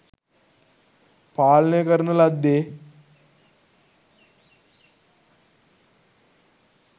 පාලනය කරන ලද්දේ